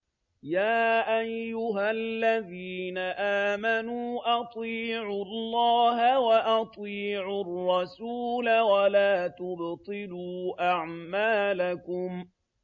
۞ يَا أَيُّهَا الَّذِينَ آمَنُوا أَطِيعُوا اللَّهَ وَأَطِيعُوا الرَّسُولَ وَلَا تُبْطِلُوا أَعْمَالَكُمْ